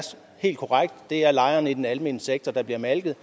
helt korrekt det er lejerne i den almene sektor der bliver malket